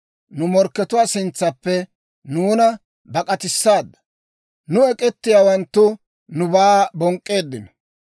Nu morkkatuwaa sintsaappe nuuna bak'k'atissaadda; nu ek'k'etiyaawanttu nubaa bonk'k'eeddino.